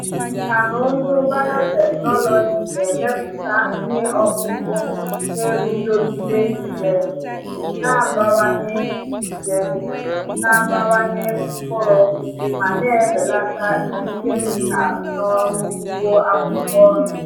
Nkà na ụzụ biotechnology na-emepụta ihe ọkụkụ na-eguzogide nje, na-abawanye nje, na-abawanye mkpụrụ ma na-ebelata iji kemịkal n’ọrụ ugbo akwụkwọ nri.